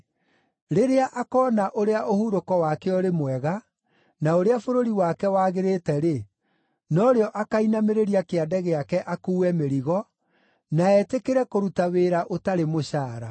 Rĩrĩa akoona ũrĩa ũhurũko wake ũrĩ mwega, na ũrĩa bũrũri wake wagĩrĩte-rĩ, no rĩo akainamĩrĩria kĩande gĩake akuue mĩrigo, na etĩkĩre kũruta wĩra ũtarĩ mũcaara.